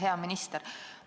Hea minister!